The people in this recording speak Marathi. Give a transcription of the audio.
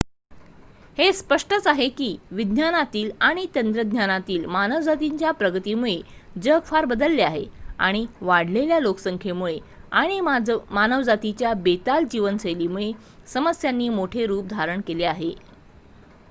हे स्पष्टच आहे की विज्ञानातील आणि तंत्रज्ञानातील मानवजातीच्या प्रगतीमुळे जग फार बदलले आहे आणि वाढलेल्या लोकसंख्येमुळे आणि मानवजातीच्या बेताल जीवनशैलीमुळे समस्यांनी मोठे रूप धारण केले आहे